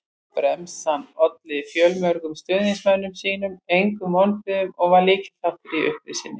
Bremsan olli fjölmörgum stuðningsmönnum sínum engum vonbrigðum og var lykilþáttur í upprisunni.